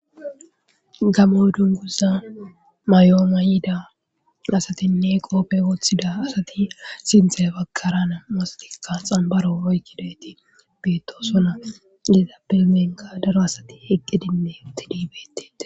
Gamo dunguza mayo mayidi asatine qophe woxida asati sinitha bagaraka na'mu sati xabaro oyikidayisatika betosona etape henika daro asati eqidi betes